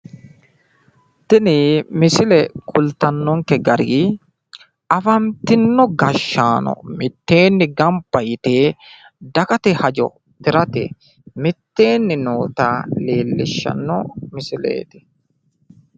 Tini misile kultannonke gari afantinno gashshaano mitteenni gamba yite dagate hajo tirate mitteenni noota leellishshanno misileeeti.